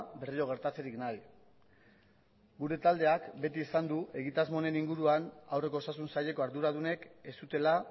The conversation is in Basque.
berriro gertatzerik nahi gure taldeak beti esan du egitasmo honen inguruan aurreko osasun saileko arduradunek ez zutela